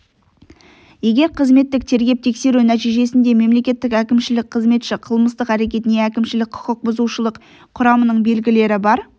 егер қызметтік тергеп-тексеру нәтижесінде мемлекеттік әкімшілік қызметші қылмыстық әрекет не әкімшілік құқық бұзушылық құрамының белгілері бар